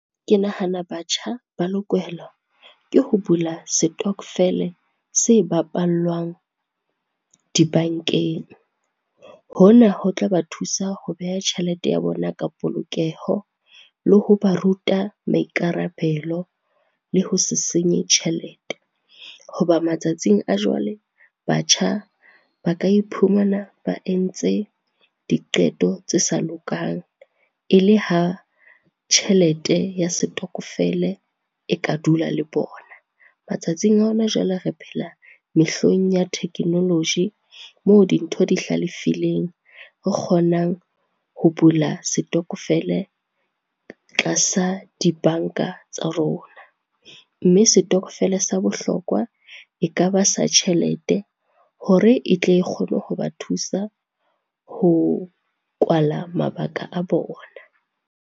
Ke nahana batjha ba lokela ke ho bula setokofele se bapallwang dibankeng. Hona ho tla ba thusa ho beha tjhelete ya bona ka polokeho, le ho ba ruta maikarabelo le ho se senye tjhelete. Ho ba matsatsing a jwale, batjha ba ka iphumana ba entse di qeto tse sa lokang, e le ha tjhelete ya setokofele e ka dula le bona. Matsatsing a hona jwale re phela mehleng ya thekenoloji moo dintho di hlalefileng, re kgonang ho bula setokofele tlasa dibanka tsa rona. Mme setokofele sa bohlokwa e ka ba sa tjhelete hore e tle e kgone ho ba thusa ho kwala mabaka a bona.